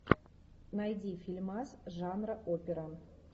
найди фильмас жанра опера